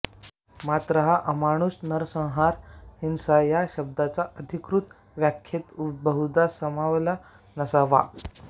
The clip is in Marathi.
मात्र हा अमानुष नरसंहार हिंसा या शब्दाच्या अधिकृत व्याख्येत बहुधा सामावला नसावा